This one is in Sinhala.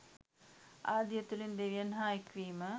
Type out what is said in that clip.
ආදිය තුළින් දෙවියන් හා එක්වීම